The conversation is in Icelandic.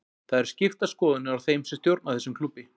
Það eru skiptar skoðanir á þeim sem stjórna þessum klúbbi.